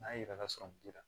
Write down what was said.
N'a yera sɔrɔ muso la